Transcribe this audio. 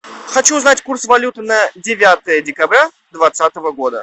хочу узнать курс валюты на девятое декабря двадцатого года